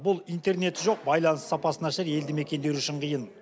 бұл интернеті жоқ байланыс сапасы нашар елді мекендер үшін қиын